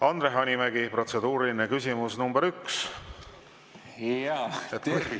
Andre Hanimägi, protseduuriline küsimus nr 1.